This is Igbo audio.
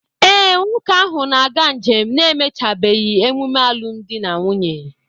Ee, nwoke ahụ na-aga njem n'emechàbeghị emume alụmdi na nwunye